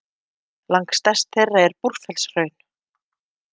Langstærst þeirra er Búrfellshraun.